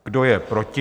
Kdo je proti?